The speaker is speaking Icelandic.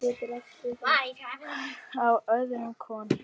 Á öðrum konum.